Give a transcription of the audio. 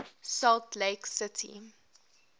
salt lake city